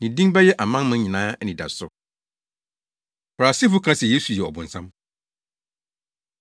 Ne din bɛyɛ amanaman nyinaa anidaso.” Farisifo Ka Se Yesu Yɛ Ɔbonsam